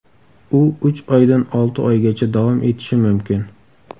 U uch oydan olti oygacha davom etishi mumkin.